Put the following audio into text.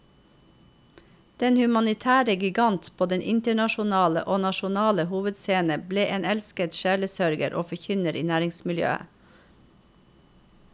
Den humanitære gigant på den internasjonale og nasjonale hovedscene ble en elsket sjelesørger og forkynner i nærmiljøet.